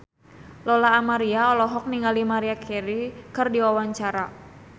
Lola Amaria olohok ningali Maria Carey keur diwawancara